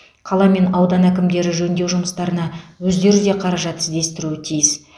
қала мен аудан әкімдері жөндеу жұмыстарына өздері де қаражат іздестіруі тиіс